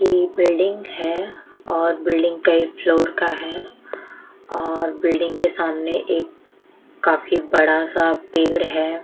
इ बिल्डिंग है और बिल्डिंग कई फ्लोर का है और बिल्डिंग के सामने एक काफी बड़ा सा पेड़ है।